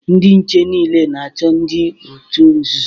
Ndị nche niile na-achọ ndị otu nzuzo